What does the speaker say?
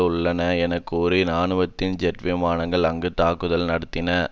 உள்ளன என கூறி இராணுவத்தின் ஜெட் விமானங்கள் அங்கு தாக்குதல் நடத்தின